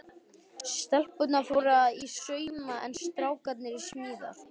Stelpurnar fóru í sauma en strákarnir í smíðar.